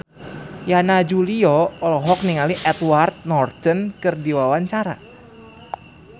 Yana Julio olohok ningali Edward Norton keur diwawancara